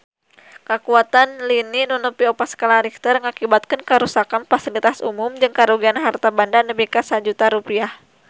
Kakuatan lini nu nepi opat skala Richter ngakibatkeun karuksakan pasilitas umum jeung karugian harta banda nepi ka 1 juta rupiah